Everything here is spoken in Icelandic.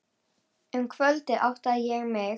Um kvöldið áttaði ég mig.